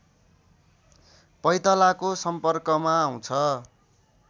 पैतालाको सम्पर्कमा आउँछ